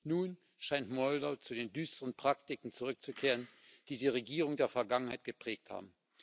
Nun scheint Moldau zu den düsteren Praktiken zurückzukehren, die die Regierungen der Vergangenheit geprägt haben.